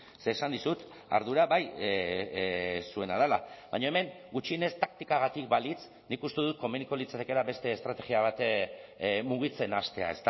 ze esan dizut ardura bai zuena dela baina hemen gutxienez taktikagatik balitz nik uste dut komeniko litzatekela beste estrategia bat mugitzen hastea